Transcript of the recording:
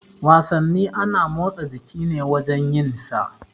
Wasanni ana motsa jiki ne wajan yin sa.